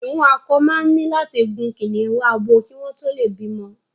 Kìnnìún akọ máa ní láti gun kìnnìún abo kí wọ́n tó lè bímọ.